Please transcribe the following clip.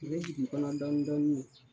O bɛ jigin i kɔnɔ dɔɔnin dɔɔnin de.